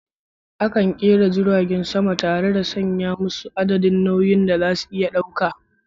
Akan kera jiragen sama tare da sanya adadin nauyin da suke iya dauka.